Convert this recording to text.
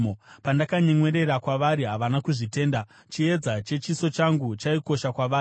Pandakanyemwerera kwavari havana kuzvitenda; chiedza chechiso changu chaikosha kwavari.